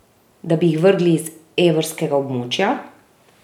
Da bi jih vrgli iz evrskega območja?